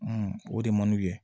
Ɔn o de man ye